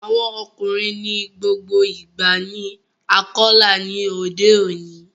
Awọn ọkunrin ni gbogbo ìgba ni Akọla ní odé òní